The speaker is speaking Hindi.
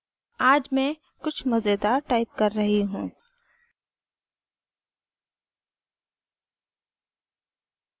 आज मैं कुछ मज़ेदार टाइप कर रही हूँ